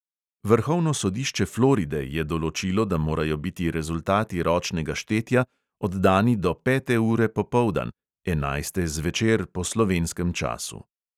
Vrhovno sodišče floride je določilo, da morajo biti rezultati ročnega štetja oddani do pete ure popoldan (enajste zvečer po slovenskem času).